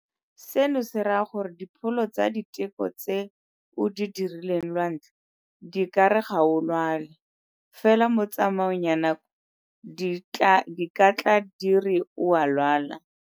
Seno se raya gore dipholo tsa diteko tse o di dirileng lwantlha di ka re ga o lwale, fela mo tsamaong ya nako di ka tla di re o a lwala.